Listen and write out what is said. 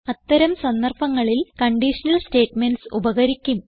അത്തരം സന്ദർഭങ്ങളിൽ conditional statements ഉപകരിക്കും